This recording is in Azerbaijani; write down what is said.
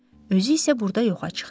Özü isə burda yoxa çıxdı.